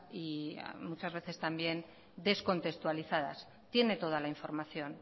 y muchas veces también descontextualizadas tiene toda la información